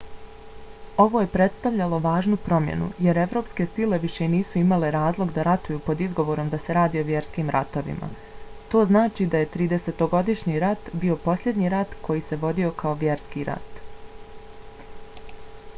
ovo je prestavljalo važnu promjenu jer evropske sile više nisu imale razlog da ratuju pod izgovorom da se radi o vjerskim ratovima. to znači da je tridesetogodišnji rat bio posljednji rat koji se vodio kao vjerski rat